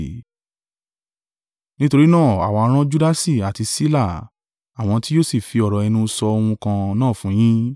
Nítorí náà àwa rán Judasi àti Sila àwọn tí yóò sì fi ọ̀rọ̀ ẹnu sọ ohun kan náà fún yín.